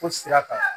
Fo sira kan